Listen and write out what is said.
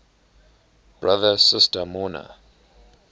brother sister mourner